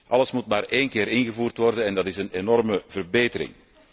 Alles moet maar één keer ingevoerd worden en dat is een enorme verbetering.